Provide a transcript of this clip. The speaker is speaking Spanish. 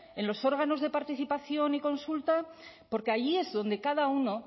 en los órganos de participación y consulta porque allí es donde cada uno